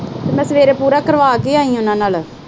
ਮੈਂ ਸਵੇਰੇ ਪੂਰਾ ਕਰਵਾ ਕੇ ਆਈ ਆ ਨਾ ਨਾਲ।